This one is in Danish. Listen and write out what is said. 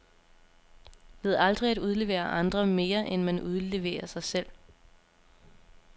Ved aldrig at udlevere andre, mere end man udleverer sig selv.